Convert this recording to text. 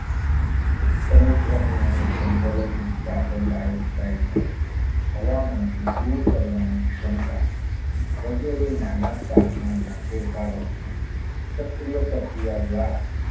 સમુદ્રની અને જંગલોની કાર્બન ડાયોક્સાઇડ ને હવામાંથી દૂર કરવાની ક્ષમતા વગેરે નાના તાપમાનના ફેરફારો ને ચક્રિય પ્રક્રિયા દ્વારા